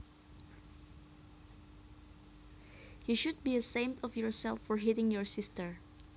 You should be ashamed of yourself for hitting your sister